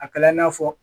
A kɛla i n'a fɔ